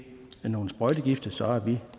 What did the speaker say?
nogle sprøjtegifte så er vi